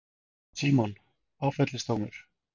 Símon: Áfellisdómur?